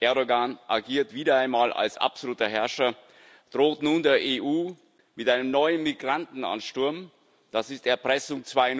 Erdoğan agiert wieder einmal als absoluter Herrscher und droht nun der EU mit einem neuen Migrantenansturm das ist Erpressung